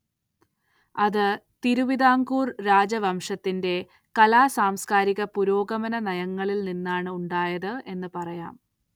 അത് തിരുവിതാംകൂർ രാജവംശത്തിന്റെ കലാ സാംസ്കാരിക പുരോഗമന നയങ്ങളിൽ നിന്നാണ് ഉണ്ടായത് എന്ന് പറയാം.